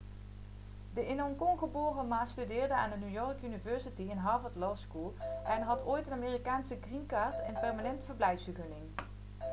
de in hongkong geboren ma studeerde aan de new york university en harvard law school en had ooit een amerikaanse green card' een permanente verblijfsvergunning